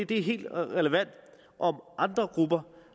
det er helt relevant om andre grupper